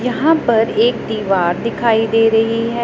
यहां पर एक दीवार दिखाई दे रही है।